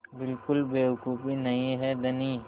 बिल्कुल बेवकूफ़ी नहीं है धनी